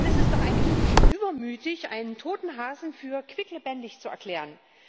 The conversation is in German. Denn es ist doch eigentlich übermütig, einen toten Hasen für quicklebendig zu erklären!